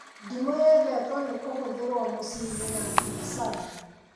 Ndimũ yendetwo nĩ kũhũthĩrwo mũciĩ na mbiacara